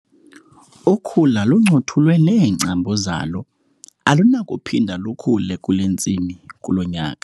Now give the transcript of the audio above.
Ukhula luncothulwe neengcambu zalo alunakuphinda lukhule kule ntsimi kulo nyaka.